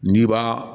N'i b'a